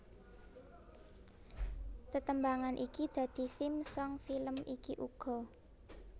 Tetembangan iki dadi theme song film iki uga